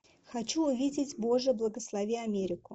хочу увидеть боже благослови америку